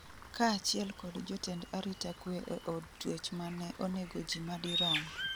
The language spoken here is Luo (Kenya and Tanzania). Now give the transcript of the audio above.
kaachiel kod jotend arita kwe e od twech mane onego ji madirom